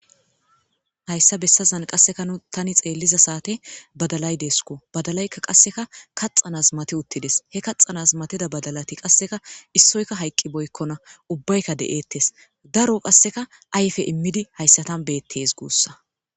hayssa bessazan qasseka nu tani xeelliza saate badalay deeskko badalaykka qasseka kaxxanas mati uttides he kaxanas matida badalati qasseka issoyka hayqqi boykkona ubbaykka de'eettes daro qasseka ayfe immidi hayssatan beettees guussa